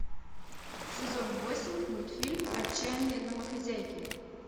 сезон восемь мультфильм отчаяные домохозяйки